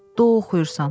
Də oxuyursan.